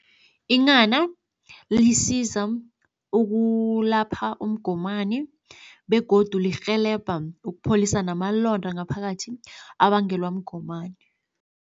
Inghana lisiza ukulapha umgomani begodu lirhelebha ukupholisa namalonda ngaphakathi abangelwa mgomani.